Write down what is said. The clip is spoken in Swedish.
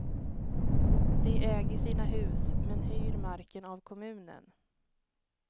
De äger sina hus, men hyr marken av kommunen.